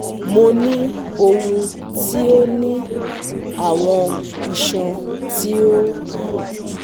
Mo ni ohun ti o ni awọn iṣan ti o gun